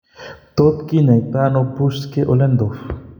Tot kinyaitano Buschke Ollendorf ?